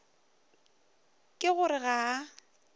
ke go re ga a